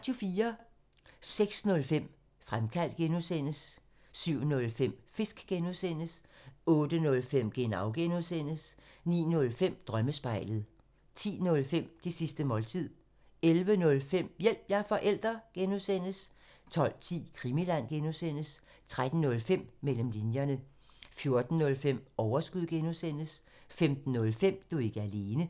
06:05: Fremkaldt (G) 07:05: Fisk (G) 08:05: Genau (G) 09:05: Drømmespejlet 10:05: Det sidste måltid 11:05: Hjælp – jeg er forælder! (G) 12:10: Krimiland 13:05: Mellem linjerne 14:05: Overskud (G) 15:05: Du er ikke alene